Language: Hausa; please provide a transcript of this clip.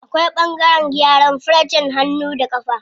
Akwai ɓangaren gyaran farcen hannu da ƙafa.